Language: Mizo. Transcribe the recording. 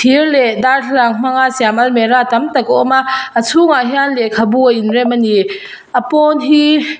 thir leh darthlalang hmanga siam almira tam tak a awm a a chhungah hian lehkhabu a inrem a ni a pawn hi--